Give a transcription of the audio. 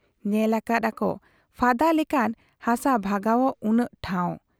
ᱧᱮᱞ ᱟᱠᱟᱫ ᱟᱠᱚ ᱯᱷᱟᱫᱟ ᱞᱮᱠᱷᱟᱱ ᱦᱟᱥᱟ ᱵᱷᱟᱜᱟᱣᱜ ᱩᱱᱟᱹᱜ ᱴᱷᱟᱶ ᱾